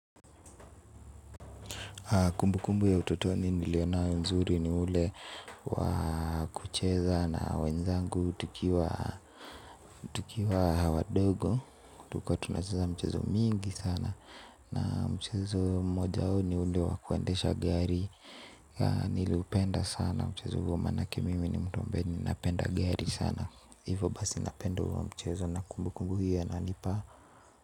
Kumbukumbu ya utotoni niliyonayo nzuri ni ile ya kucheza na wenzangu. Tukiwa watoto wadogo, tulikuwa tunacheza michezo mingi sana, na mchezo mmoja ni ule wa kuendesha gari. Niliupenda sana mchezo huo, maana mimi ni mtu ambaye ninapenda magari sana. Hivyo basi, ninapenda huo mchezo.